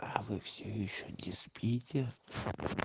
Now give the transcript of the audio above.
аа вы все ещё не спите